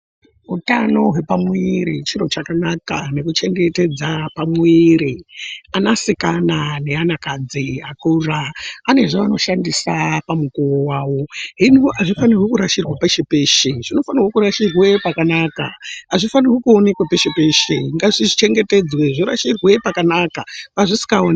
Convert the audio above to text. Utano hwepamwiiri chiro chakanaka nekuchengetedza pamwiiri anasikana neanakadzi akura anezvaanoshandisa pamukuwo wavo hino hazvifaniri kurashirwa peshe peshe zvinofanirwe kurashirwe pakanaka hazvifaniri kuonekwa peshe peshe ngazvichengetedzwe zvorashirwa pakanaka pazvisikaonekwi .